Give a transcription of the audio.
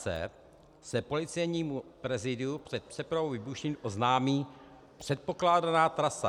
c) se Policejnímu prezídiu před přepravou výbušnin oznámí předpokládaná trasa.